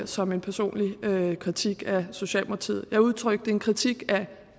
som en personlig kritik af socialdemokratiet jeg udtrykte en kritik af